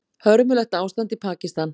Hörmulegt ástand í Pakistan